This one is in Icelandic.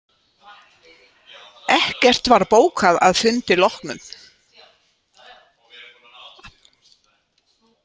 Ekkert var bókað að fundi loknum